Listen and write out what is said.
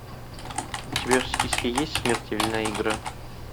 у тебя в списке есть смертельная игра